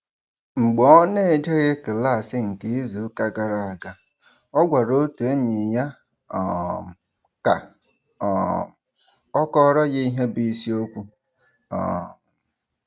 Mgbe ọ n'ejeghị klaasị nke izuụka gara aga, ọ gwara otu enyi ya um ka um ọ kọọrọ ya ihe bụ isiokwu um